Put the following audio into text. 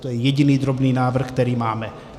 To je jediný drobný návrh, který máme.